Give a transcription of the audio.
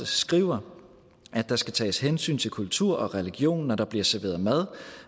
skriver at der skal tages hensyn til kultur og religion når der bliver serveret mad